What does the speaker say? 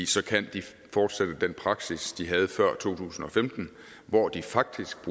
så kan de fortsætte den praksis de havde før to tusind og femten hvor de faktisk